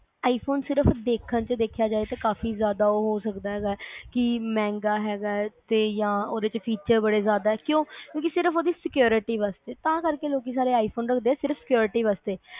i phone ਸਿਰਫ ਦੇਖਣ ਚ ਦੇਖਿਆ ਜਾਵੇ ਕਾਫੀ ਉਹ ਹੋ ਸਕਦਾ ਹੈਗਾ ਕੀ ਮਹਿੰਗਾ ਹੈਗਾ ਤੇ ਜਾਂ ਉਹਦੇ ਚ feature ਬੜੇ ਜਾਦਾ ਕਿਊ ਕਿਊ ਕਿ ਸਿਰਫ ਉਹਦੀ security ਵਾਸਤੇ ਤਾਂ ਕਰ ਕੇ ਲੋਕੀ i phone ਸਾਰੇ ਰੱਖਦੇ ਆ